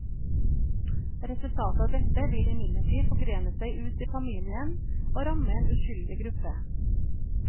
Resultatet av dette vil imidlertid forgrene seg ut til familien og ramme en uskyldig gruppe.